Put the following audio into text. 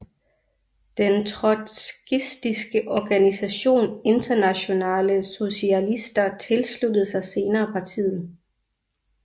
Den trotskistiske organisation Internasjonale Sosialister tilsluttede sig senere partiet